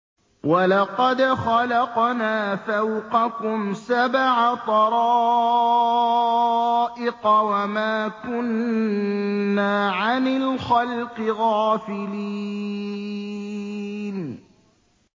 وَلَقَدْ خَلَقْنَا فَوْقَكُمْ سَبْعَ طَرَائِقَ وَمَا كُنَّا عَنِ الْخَلْقِ غَافِلِينَ